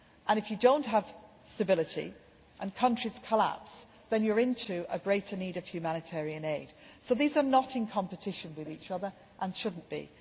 If you do not have stability and countries collapse, then you have a greater need for humanitarian aid. So these are not in competition with each other and should not